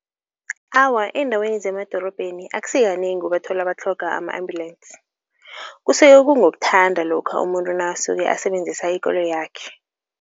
Awa eendaweni zemadorobheni akusikanengi ubathola batlhoga ama-ambulensi. Kusuke kungokuthanda lokha umuntu nakasuke asebenzisa ikoloyakhe.